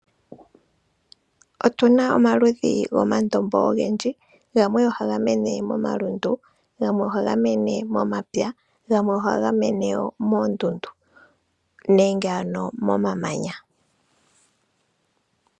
Otuna omaludhi gomandombo ogendji, gamwe ohaga mene momalundu gamwe, ohaga mene momapya, gamwe ohaga mene wo moondundu nenge ano momamanya.